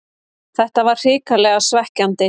Þetta var hrikalega svekkjandi